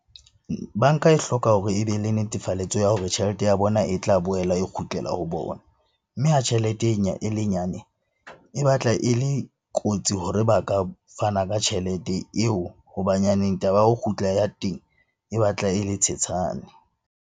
Banka e hloka hore e be le netefalletso ya hore tjhelete ya bona e tla boela e kgutlela ho bona. Mme ha tjhelete e le nyane e batla e le kotsi hore ba ka fana ka tjhelete eo hoba nyaneng taba ya ho kgutla ya teng e batla e le tshetshane.